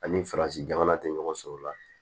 Ani farasi jamana tɛ ɲɔgɔn sɔrɔ la